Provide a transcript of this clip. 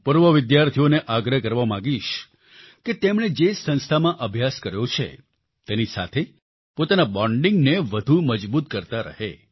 હું પૂર્વ વિદ્યાર્થીઓને આગ્રહ કરવા માંગીશ કે તેમણે જે સંસ્થામાં અભ્યાસ કર્યો છે તેની સાથે પોતાના bondingને વધુ મજબૂત કરતા રહે